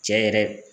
Cɛ yɛrɛ